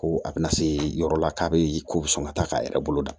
Ko a bɛna se yɔrɔ la k'a bɛ ko bɛ sɔn ka taa k'a yɛrɛ bolo da